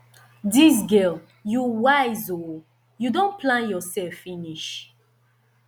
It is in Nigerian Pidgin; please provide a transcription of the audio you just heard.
dis girl you wise ooo you don plan yourself finish